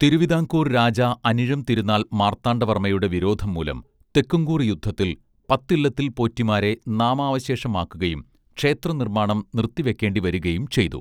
തിരുവിതാംകൂർ രാജാ അനിഴംതിരുനാൾ മാർത്താണ്ഡവർമ്മയുടെ വിരോധം മൂലം തെക്കുംകൂർ യുദ്ധത്തിൽ പത്തില്ലത്തിൽ പോറ്റിമാരെ നാമാവശേഷമാക്കുകയും ക്ഷേത്രനിർമ്മാണം നിർത്തിവെക്കേണ്ടിവരുകയും ചെയ്തു